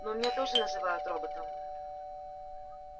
ну меня тоже называют роботом